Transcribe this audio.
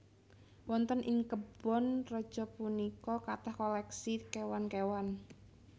Wonten ing kebon raja punika kathah koleksi kéwan kéwan